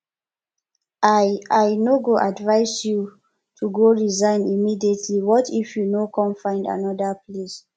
i i no go advise you to go resign immediately what if you no come find another place